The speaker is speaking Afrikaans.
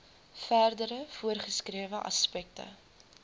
verdere voorgeskrewe aspekte